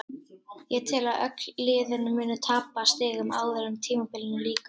Ég tel að öll liðin muni tapa stigum áður en tímabilinu lýkur.